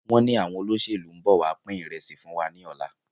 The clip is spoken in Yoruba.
Wọn ní àwọn olóṣèlú ń bọ̀ wá pin ìrẹsì fún wa ní ọ̀la.